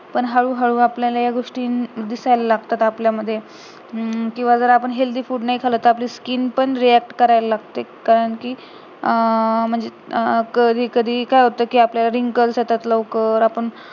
पण हळूहळू या गोष्टी आपल्याला दिसायला लागतात आपल्या मध्ये अं जर किंवा जर आपण healthy food नाही खाल्लं तर skin पण react करायला लागते कारण कि अं म्हणजे अं कधी कधी काय होत कि आपल्याला wrinkles येतात लवकर